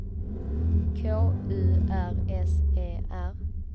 K U R S E R